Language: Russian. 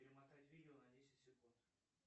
перемотать видео на десять секунд